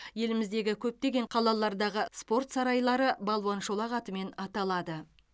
еліміздегі көптеген қалалардағы спорт сарайлары балуан шолақ атымен аталады